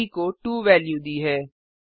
ब को 2 वेल्यू दी है